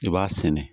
I b'a sɛnɛ